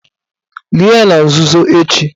Lie ya na nzuzo echi